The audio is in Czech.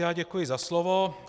Já děkuji za slovo.